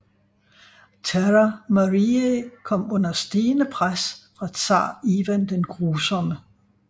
Terra Mariae kom under stigende pres fra Tsar Ivan den Grusomme